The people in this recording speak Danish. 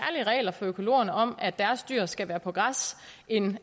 regler for økologerne om at deres dyr skal være på græs en